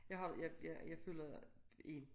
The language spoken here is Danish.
Jeg har jeg jeg følger en